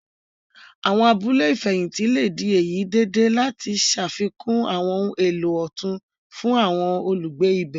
Àwọn abúlé ìfẹ̀hìntì le di èyí dìde lati ṣafikun àwọn ohun èlò otun fún àwọn olugbe ibè.